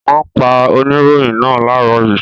Wọ́n pa oníròyìn náà láàárọ̀ yìí.